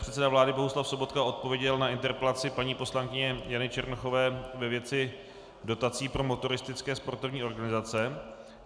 Předseda vlády Bohuslav Sobotka odpověděl na interpelaci paní poslankyně Jany Černochové ve věci dotací pro motoristické sportovní organizace.